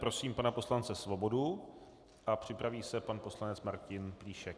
Prosím pana poslance Svobodu a připraví se pan poslanec Martin Plíšek.